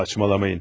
Saçmalamayın.